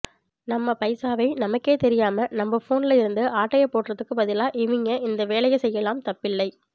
நம்ம பைசாவை நமக்கே தெரியாம நம்ம போன்ல இருந்து ஆட்டையை போடுறதுக்கு பதிலா இவிய்ங்க இந்த வேலையை செய்யலாம் தப்பில்லை